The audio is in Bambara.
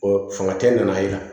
Ɔ fanga tɛ nana yen